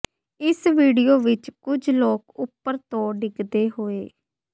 ਇਸ ਵੀਡੀਓ ਵਿਚ ਕੁਝ ਲੋਕ ਉਪਰ ਤੋਂ ਡਿਗਦੇ ਹੋਏ